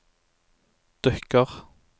dukker